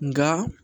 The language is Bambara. Nka